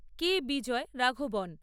কে Vijay Raghavan